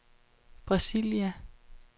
Brasilia